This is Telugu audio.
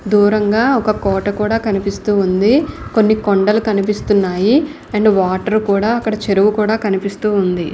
దూరంగా ఒక కోట కూడా కనిపిస్తుంది. కొన్ని కొండలు కనిపిస్తున్నాయి. అండ్ వాటర్ కూడా అక్కడ చెరువు కూడా కనిపిస్తు ఉంది.